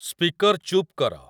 speaker ଚୁପ କର